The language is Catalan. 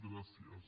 gràcies